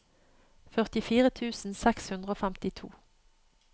førtifire tusen seks hundre og femtito